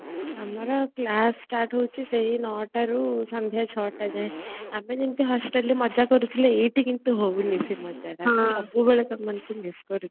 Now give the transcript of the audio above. ଆମର class start ହଉଛି ଭୋର ନ ଟାରୁ ସନ୍ଧ୍ଯା ଛଟା ଯାଏ ଆମେ ବୋଧେ hostel ରେ ମଜା କରୁଥିଲେ ଏଇଠି କିନ୍ତୁ ହଉନି ମଜା ମୁ ସବୁବେଳେ ତମମାନଙ୍କୁ ମିସ କରୁଛି